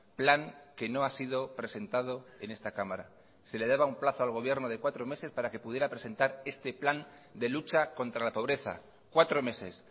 plan que no ha sido presentado en esta cámara se le daba un plazo al gobierno de cuatro meses para que pudiera presentar este plan de lucha contra la pobreza cuatro meses